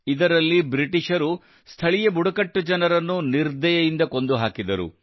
ಇದರಲ್ಲಿ ಬ್ರಿಟಿಷರು ಸ್ಥಳೀಯ ಬುಡಕಟ್ಟು ಜನರನ್ನು ನಿರ್ದಯೆಯಿಂದ ಕೊಂದು ಹಾಕಿದರು